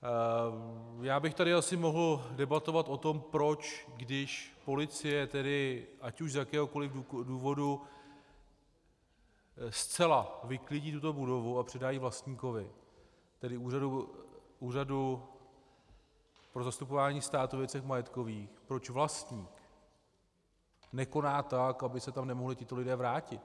Já bych tady asi mohl debatovat o tom, proč, když policie tedy ať už z jakéhokoli důvodu zcela vyklidí tuto budovu a předá ji vlastníkovi, tedy Úřadu pro zastupování státu ve věcech majetkových, proč vlastník nekoná tak, aby se tam nemohli tito lidé vrátit.